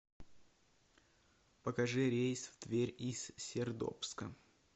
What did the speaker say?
покажи рейс в тверь из сердобска